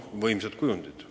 Võimsad kujundid!